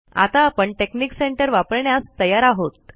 आता आपण technic centre वापरण्यास तयार आहोत